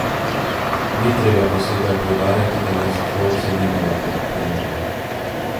Ni treba posebej poudarjati, da med sošolci ni bila priljubljena.